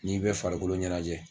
N'i bɛ farikolo ɲɛnajɛ.